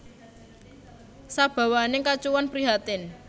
Sabawaning kacuwan prihatin